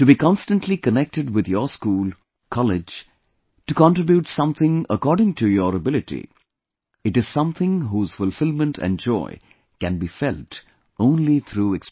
To be constantly connected with your school, college, to contribute something according to your ability, it is something whose fulfilment and joy can be felt only through experience